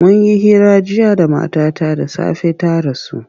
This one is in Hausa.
Mun yi hira jiya da matata da safe ta rasu.